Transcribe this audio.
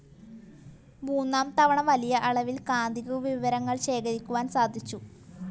മൂന്നാം തവണ, വലിയ അളവിൽ കാന്തിക വിവരങ്ങൾ ശേഖരിക്കുവാൻ സാധിച്ചു.